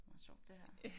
Meget sjovt det her